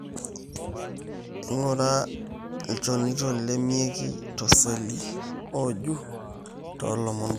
ingura ilchanito loimieki toseli ojuu, to lomon kumok.